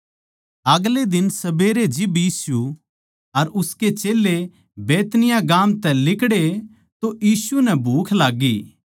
अगले दिन सबेरे जिब यीशु अर उसके चेल्लें बैतनिय्याह गाम तै लिकड़े तो यीशु नै भूख लाग्गी